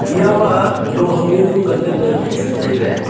eya maloh ham ya nu nganley ley wai chu tailey.